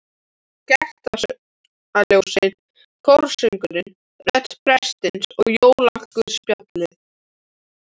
Kertaljósin, kórsöngurinn, rödd prestsins og jólaguðspjallið.